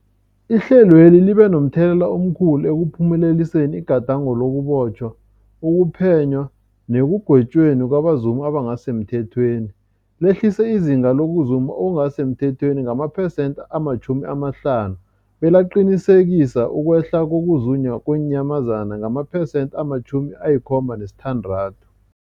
Ihlelweli libe momthelela omkhulu ekuphumeleliseni igadango lokubotjhwa, ukuphenywa nekugwetjweni kwabazumi abangasisemthethweni, lehlisa izinga lokuzuma okungasi semthethweni ngamaphesenthe-50, belaqinisekisa ukwehla kokuzunywa kweenyamazana ngamaphesenthe-76.